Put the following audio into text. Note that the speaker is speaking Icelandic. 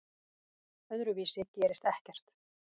Öðruvísi gerist ekkert.